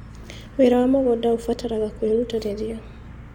Wĩra wa mũgũnda ũbataraga kwĩrutanĩria.